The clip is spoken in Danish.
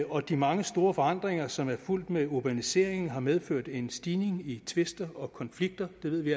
og de mange store forandringer som er fulgt med urbaniseringen har medført en stigning i tvister og konflikter det ved vi